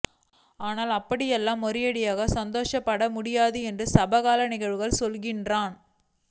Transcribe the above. ஆனால் அப்படியெல்லாம் ஒரேயடியாக சந்தோஷப்படவும் முடியாது என்று சமகால நிகழ்வுகள் சொல்கின்றன்